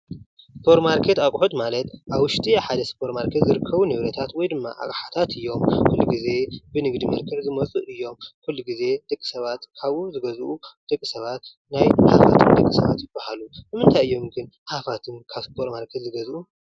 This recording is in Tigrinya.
ስፖርማርኬት ኣቁሑት ማለት ኣብ ውሽጢ ሓደ ስፖርማርኬት ዝርከቡ ንብረታት ወይ ድማ ኣቅሓታት እዮም። ኩሉ ግዜ ብንግዲ መልክዕ ዝመፁ እዮም። ኩሉ ግዜ ደቂ ሰባት ካብኡ ዝገዝኡ ደቂ ሰባት ናይ ሃፋትም ደቂ ሰባት ይበሃሉ ። ንምንታይ እዮም ግን ሃፋትም ካብ ስፖርማርኬት ዝገዝኡ ?